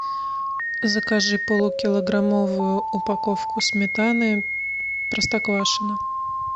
закажи полукилограммовую упаковку сметаны простоквашино